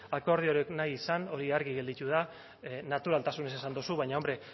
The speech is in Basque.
akordiorik nahi izan hori argi gelditu da naturaltasunez esan dozu baina hombre